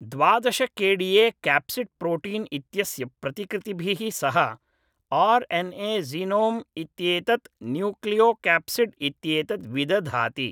द्वादश K D A capsid protein इत्यस्य प्रतिकृतिभिः सह आर् एन् ए जीनोम् इत्येतत् न्यूक्लियोक्याप्सिड् इत्येतत् विदधाति।